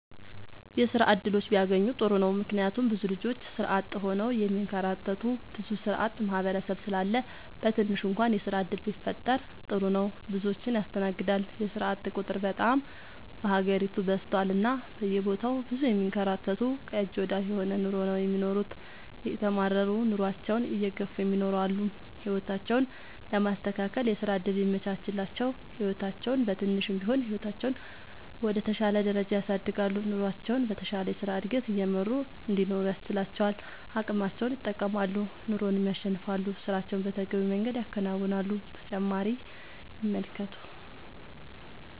የስራ እድሎች ቢያገኙ ጥሩ ነው ምክንያቱም ብዙ ልጆች ስራ አጥ ሆነው የሚንከራተቱ ብዙ ስራአጥ ማህበረሰብ ስላለ በትንሹ እንኳን የስራ ዕድል ቢፈጠር ጥሩ ነው። ብዙዎችን ያስተናግዳል የስራአጥ ቁጥር በጣም በሀገሪቱ በዝቷል እና በየቦታው ብዙ የሚንከራተቱ ከእጅ ወደ አፍ የሆነ ኑሮ ነው የሚኖሩት እየተማረሩ ኑሮአቸውን እየገፍ እሚኖሩ አሉ። ህይወታቸውን ለማስተካከል የስራ ዕድል ቢመቻችላቸው ህይወታቸውን በትንሹም ቢሆን ህይወታቸውን ወደ ተሻለ ደረጃ ያሳድጋሉ። ኑሮቸውን በተሻለ የስራ ዕድገት እየመሩ እንዲኖሩ ያስችላቸዋል አቅማቸውን ይጠቀማሉ ኑሮንም ያሸንፋሉ። ስራቸውን በተገቢው መንገድ ያከናውናሉ።…ተጨማሪ ይመልከቱ